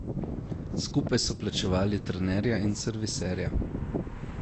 Skupaj so plačevali trenerja in serviserja.